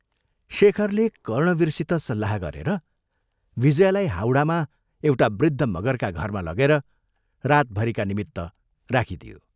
शेखरले कर्णवीरसित सल्लाह गरेर विजयालाई हाउडामा एउटा वृद्ध मगरका घरमा लगेर रातभरिका निमित्त राखिदियो।